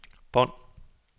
bånd